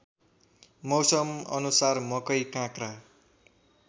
मौसमअनुसार मकै काँक्रा